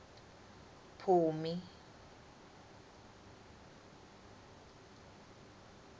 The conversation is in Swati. phumi